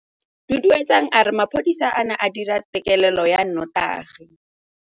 Duduetsang a re mapodisa a ne a dira têkêlêlô ya nnotagi.